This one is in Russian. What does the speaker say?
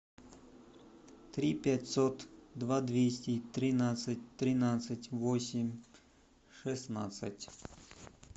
три пятьсот два двести тринадцать тринадцать восемь шестнадцать